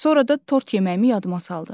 Sonra da tort yeməyimi yadıma saldı.